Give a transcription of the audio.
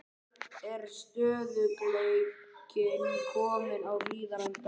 Er stöðugleikinn kominn á Hlíðarenda?